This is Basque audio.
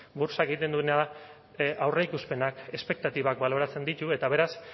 burtsak egiten duena da aurreikuspenak espektatibak baloratzen ditu eta beraz